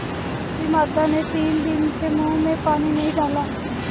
बूढ़ी माता ने तीन दिन से मुँह में पानी नहीं डाला